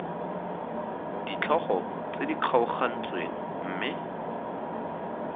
ditlhogo tse di kgaogantsweng mme